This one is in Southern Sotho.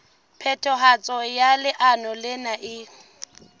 phethahatso ya leano lena e